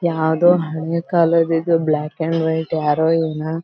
ಯಾವದೋ ಹಳೆ ಕಾಲದ ಇದೆ ಬ್ಲಾಕ್ ಆಂಡ್ ವೈಟ್ ಯಾರೋ ಇವನ್ನ.